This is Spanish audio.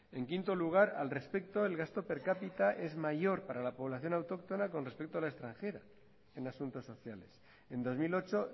en quinto lugar al respecto del gasto per capita es mayor para la población autóctona con respecto a la extranjera en asuntos sociales en dos mil ocho